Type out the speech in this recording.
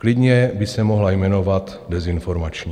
Klidně by se mohla jmenovat dezinformační.